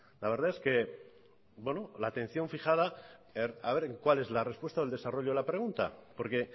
la verdad es que la atención fijada a ver en cuál es la respuesta o el desarrollo de la pregunta porque